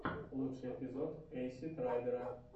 лучший эпизод эйсид райдера